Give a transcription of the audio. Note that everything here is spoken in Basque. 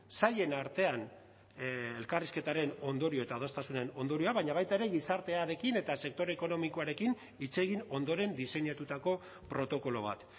sailen artean elkarrizketaren ondorio eta adostasunen ondorioa baina baita ere gizartearekin eta sektore ekonomikoarekin hitz egin ondoren diseinatutako protokolo bat